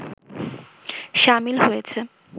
সামিল হয়েছে